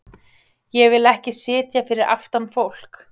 Ég vil ekki sitja fyrir aftan fólk.